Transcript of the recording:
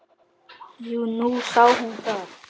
Jú, nú sá hún það.